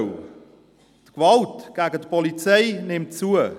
Die Gewalt gegen die Polizei nimmt zu.